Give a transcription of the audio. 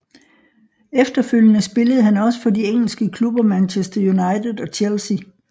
Efterfølgende spillede han også for de engelske klubber Manchester United og Chelsea